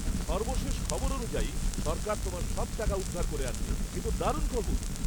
সর্বশেষ খবর অনুযায়ী, সরকার তোমার সব টাকা উদ্ধার করে আনবে। এ তো দারুণ খবর।